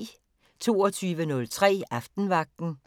22:03: Aftenvagten